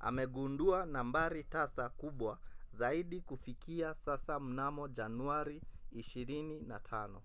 amegundua nambari tasa kubwa zaidi kufikia sasa mnamo januari 25